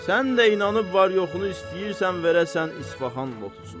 Sən də inanıb var-yoxunu istəyirsən verəsən İsfaxon lotusuna.